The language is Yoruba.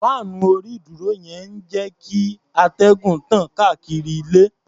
Fáànù orí-ìdúró yẹn ń jẹ́ kíatẹ́gùn tàn káàkiri ilé.